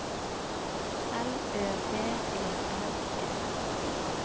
L Ø B E R G